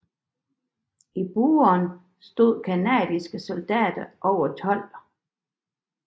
I Buron stod canadiske soldater over 12